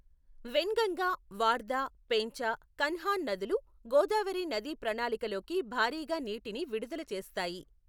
వెన్గంగా, వార్ధా, పేంచ, కన్హాన్ నదులు గోదావరి నదీ ప్రాణాళిలోకి భారీగా నీటిని విడుదల చేస్తాయి.